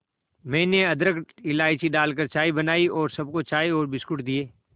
मैंने अदरक इलायची डालकर चाय बनाई और सबको चाय और बिस्कुट दिए